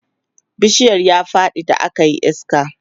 bishiyar ya Faɗi da akayi iska